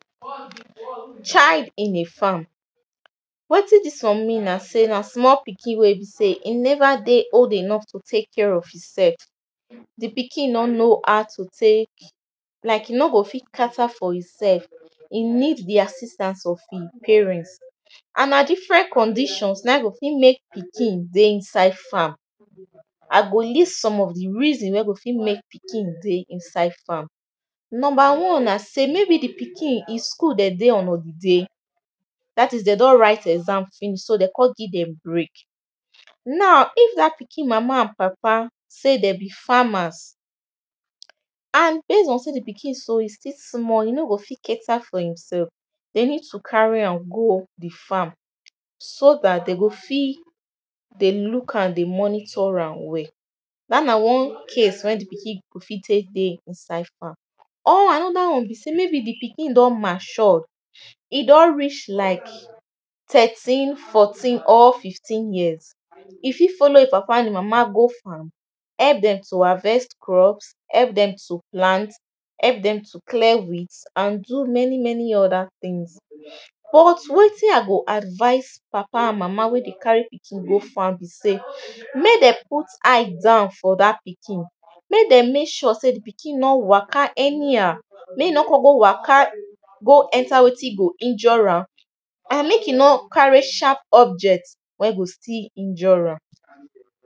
child in a farm wetin dis one mean na sey na small pikin wey be sey e never dey old enough to take care of he sef the pikin no know how to take like he no go fit cater for himself he need the assistance of him parent and na different conditions na him go fit make pikin dey inside farm i go list some of the reasons wey go fit make pikin dey inside farm number one na sey maybe the pikin e school dem dey on holiday that is dem don write exam finish dey con give dem break na if that pikin mama and papa sey dem be farmers and base on sey the pikin so e still small e no go fit cater for himsef dey need to carry am go the farm so that dey go fit dey look am dey monitor am well that na one case wey the pikin go fit take dey inside farm or another one be sey maybe the pikin don matured e don reach like thirteen fourteen or fifteen years e fir follow hin papa and mama go farm help dem to harvest crops help dem to plant help dem to clear weeds and do many many other thing but wetin i go advise papa and mama wey dey carry pikin go farm be sey make dem put eye down for that pikin make dem make sure sey the pikin no waka anyhow make e no con go waka go enter wetin go injure am and make e no carry sharp object wey go still injure am